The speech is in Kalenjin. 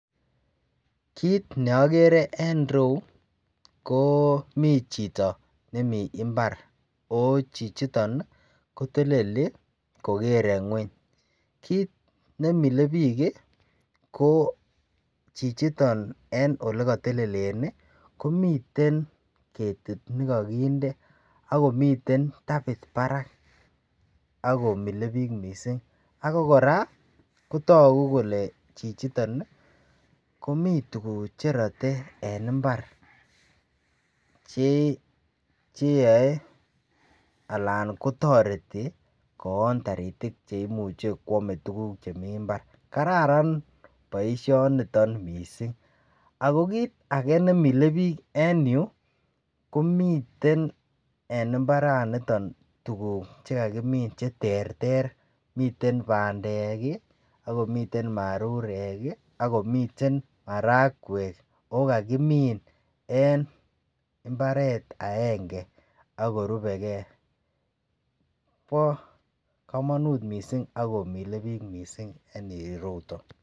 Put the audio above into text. kiit neogere en ireuu koo mii chito nemii imbaar ooh chichiton iih koteleli kogere nweny, kiit nemile biik ko chichiton en yegotelelen iih komiten ketit negogindee ak komiten tabiit baraak akgomilee biik mising, ago koraa kotogu kole chichiton iih komii tuguk cherote en imbaar cheyoee alan kotoreti koon toritik chemuche kwomee tuguk chemii imbaar. Kararan boishoniton mising, ago kiit age neimile biik en yuu komiten en imbaraniton tuguk chegagimiin cheterter miten bandeek iih ak komiten marurek iih ak komiten maragweek ago kagimiin en imbareet agenge ago rubegee, bo komonuut mising ago milebiik mising en ireuton.